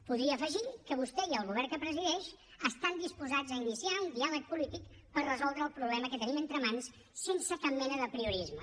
podria afegir que vostè i el govern que presideix estan disposats a iniciar un diàleg polític per resoldre el problema que tenim entre mans sense cap mena d’apriorisme